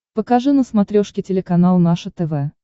покажи на смотрешке телеканал наше тв